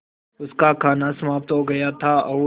उनका खाना समाप्त हो गया था और